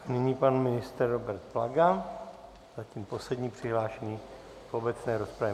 Nyní pan ministr Robert Plaga, zatím poslední přihlášený v obecné rozpravě.